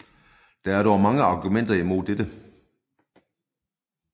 Der er dog mange argumenter imod dette